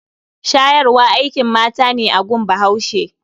Shayarwa akin mata ne a gun bahuashe.